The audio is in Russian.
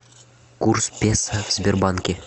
курс песо в сбербанке